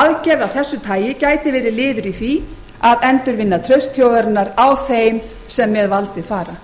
aðgerð af þessu tagi gæti verið liður í því að endurvinna traust þjóðarinnar á þeim sem með valdið fara